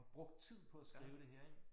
Og brugt tid på at skrive det her ik